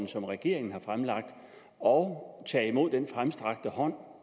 som regeringen har fremlagt og tage imod den fremstrakte hånd